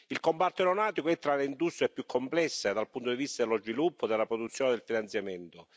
Il comparto aeronautico è tra le industrie più complesse dal punto di vista dello sviluppo, della produzione e del finanziamento.